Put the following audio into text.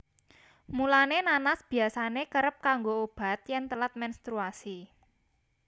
Mulané nanas biyasané kerep kanggo obat yèn telat menstruasi